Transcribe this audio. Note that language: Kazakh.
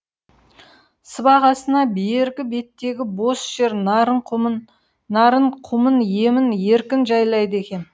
сыбағасына бергі беттегі бос жер нарын құмын емін еркін жайлайды екен